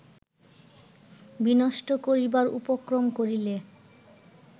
বিনষ্ট করিবার উপক্রম করিলে